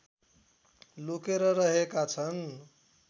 लुकेर रहेका छन्